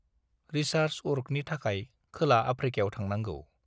Research वर्कनि थाखाय खोला-आफ्रिकायाव थांनांगौ।